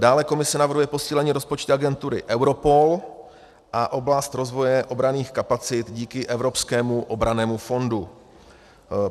Dále Komise navrhuje posílení rozpočtu agentury Europol a oblast rozvoje obranných kapacit díky evropskému obrannému fondu.